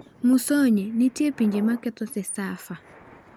Musonye: Nitie pinje maketho Cecafa